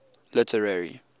literary